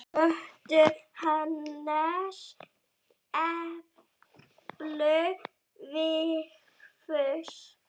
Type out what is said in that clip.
Kötu, Hannes, Emblu, Vigfús.